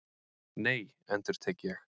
Nei, endurtek ég.